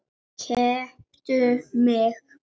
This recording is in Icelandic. Keyptu mig?